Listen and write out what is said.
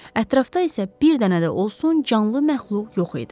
Ətrafda isə bir dənə də olsun canlı məxluq yox idi.